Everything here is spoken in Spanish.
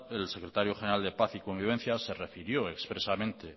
el secretario general de paz y convivencia se refirió expresamente